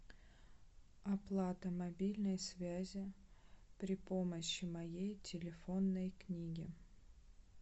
оплата мобильной связи при помощи моей телефонной книги